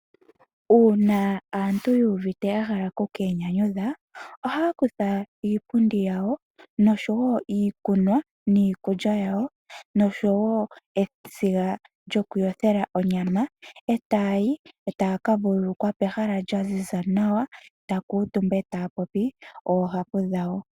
Uuna aantu yuuvite yahala okwiinyanyudha , ohaa kutha iipundi yawo noshowoo iikunwa niikulya yawo noshowoo esiga lyokuyothela onyama , etaayi etaya ka vulukwa pehala lyaziza nawa, ohaa kuutumba etaya popi oohapu dhawo.